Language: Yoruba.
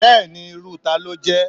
Bẹ́ẹ̀ni irú talo ló jé